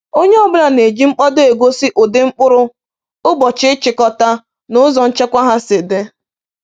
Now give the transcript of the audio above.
Onye ọ bụla na-eji mkpado egosi ụdị mkpụrụ, ụbọchị ịchịkọta, na ụzọ nchekwa ha si dị.